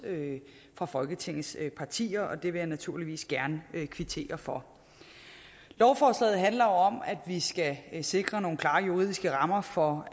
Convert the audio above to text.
fra folketingets partier og det vil jeg naturligvis gerne kvittere for lovforslaget handler jo om at vi skal sikre nogle klare juridiske rammer for